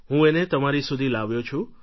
હું એને તમારા સુધી લાવ્યો છું